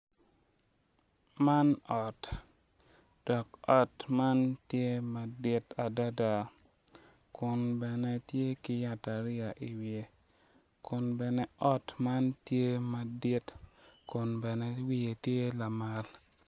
Man ot dok ot man tye madit adada kun bene tye ki yata ariya iwiye kun bene ot man tye madit kun bene wiye tye lamal.